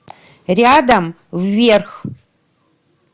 рядом вверх